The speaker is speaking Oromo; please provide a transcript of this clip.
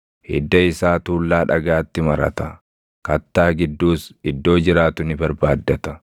Hidda isaa tuullaa dhagaatti marata; kattaa gidduus iddoo jiraatu ni barbaaddata.